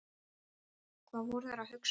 Hvað voru þeir að hugsa?